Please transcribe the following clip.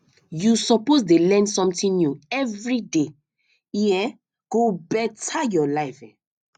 you suppose dey learn something new everyday e um go beta your life